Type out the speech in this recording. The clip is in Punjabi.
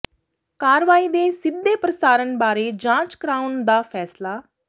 ਕਾਰਵਾਈ ਦੇ ਸਿੱਧੇ ਪ੍ਰਸਾਰਨ ਬਾਰੇ ਜਾਂਚ ਕਰਾਉਣ ਦਾ ਫ਼ੈਸਲਾ